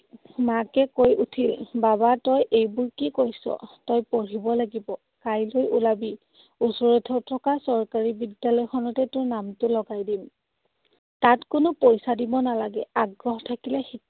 মাকে কৈ উঠিল, বাবা, তই এইবোৰ কি কৈছ? তই পঢ়িব লাগিব। কাইলে উলাবি। ওচৰতে থকা চৰকাৰী বিদ্যালয়খনতে তোৰ নামটো লগাই দিম। তাত কোনো পইছা দিব নালাগে। আগ্ৰহ থাকিলে